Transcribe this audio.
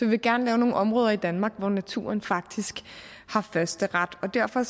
vil gerne lave nogle områder i danmark hvor naturen faktisk har førsteret og derfor